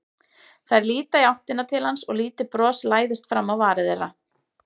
Þær líta í áttina til hans og lítið bros læðist fram á varir þeirra.